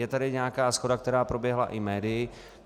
Je tady nějaká shoda, která proběhla i médii.